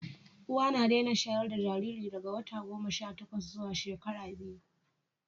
uwa na Dena shayarda Jariri daga wata goma Sha takwas zuwa shekara biyu